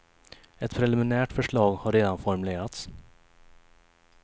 Ett preliminärt förslag har redan formulerats.